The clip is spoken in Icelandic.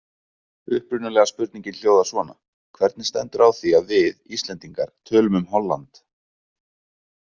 Upprunalega spurningin hljóðar svona: Hvernig stendur á því að við, Íslendingar, tölum um Holland?